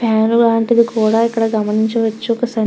fan లాంటిది కూడ ఇక్కడ గమనించవచ్చు ఒక సన్ --